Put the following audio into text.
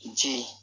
Je